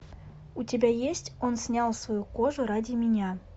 у тебя есть он снял свою кожу ради меня